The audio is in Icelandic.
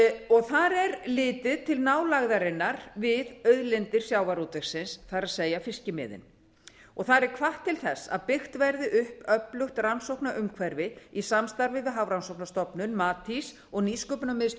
og þar er litið til nálægðarinnar við auðlindir sjávarútvegsins það er fiskimiðin og og þar er hvatt til þess að byggt verði upp öflugt rannsóknaumhverfi í samstarfi við hafrannsóknastofnun matís og nýsköpunarmiðstöð